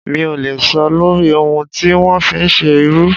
Mi ò lè sọ lórí ohun tí wọ́n fi ń ṣe irú.